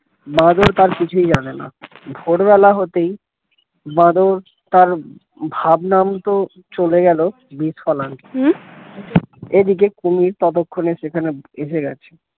বাঁদর তার কিছুই জানে না ভোরবেলা হতেই বাঁদর তার ভাবনা মত চলে গেলো বিজ ফল আনতে এদিকে কুমির ততক্ষনে এসে গেছে